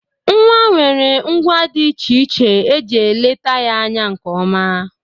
Nwa nwere ngwa dị iche iche e ji eleta ya anya nke ọma.